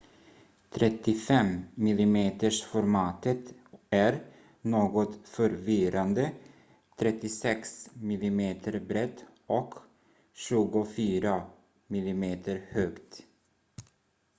35-milimetersformatet är något förvirrande 36 mm brett och 24 mm högt